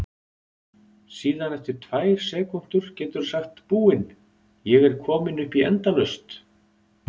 Síðan eftir tvær sekúndur geturðu sagt Búin, ég er komin upp í endalaust!